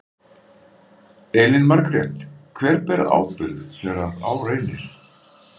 Elín Margrét: Hver ber ábyrgð þegar að á reynir?